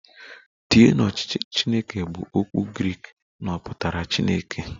"Theo"" na ọchịchị Chineke bụ okwu Grik na ọ pụtara Chineke"